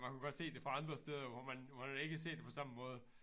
Man kunne godt se det fra andre steder hvor man hvor man ikke ser det på samme måde